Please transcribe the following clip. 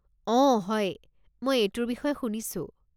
অ' হয়, মই এইটোৰ বিষয়ে শুনিছোঁ।